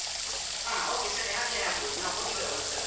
ಹ okay ಸರಿ ಹಾಗೇನೇ ಆಗ್ಬೋದು ನಾವು ಹೋಗಿ ಬರುವ ಒಂದ್ಸಲಾ.